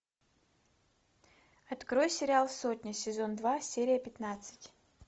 открой сериал сотня сезон два серия пятнадцать